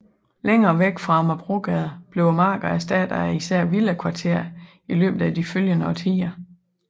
Længere væk fra Amagerbrogade blev markerne erstattet af især villakvarter i løbet af de følgende årtier